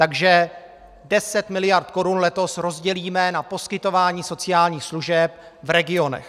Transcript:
Takže 10 mld. korun letos rozdělíme na poskytování sociálních služeb v regionech.